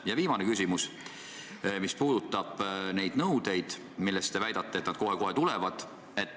Minu viimane küsimus puudutab neid kahjunõudeid, mis teie väitel kohe-kohe tulevad.